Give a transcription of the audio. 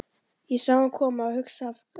Ég sá hann koma og hugsaði af hverju ekki?